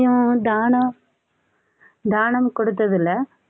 உம் தானம் தானம் கொடுத்து இல்லை